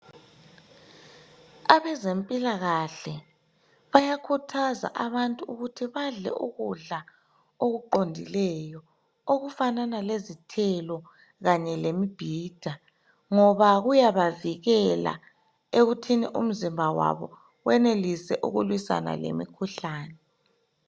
Abezempilakahle bayakhuthaza abantu ukuthi badle ukudla okuqondileyo okufanana lezithelo kanye lemibhida ngoba kuyabavikela ekuthini umzimba wabo wenelise ukulwisana lemikhuhlane.